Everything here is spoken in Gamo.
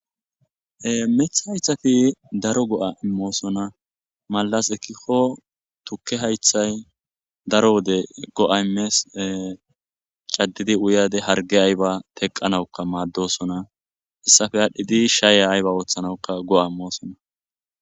Ee miththa haythape daro go7aa immoosona; malaz ekkiko thukke hayththay daro wode go7a immees; ee caddidi uyaade hargge aybaa theqqanawukka maaddoosona; hessape aadhdhidi shyiya aybaa ooththanawukka go7aa immoosona.